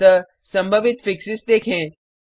अतः संभावित फिक्सेस देखें